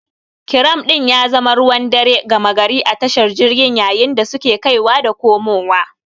Kiram din ya zama ruwan dare gama gari a tashar jirgin yayin da suke kaiwa da komowa.